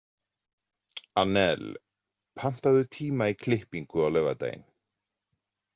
Annel, pantaðu tíma í klippingu á laugardaginn.